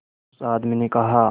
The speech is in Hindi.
उस आदमी ने कहा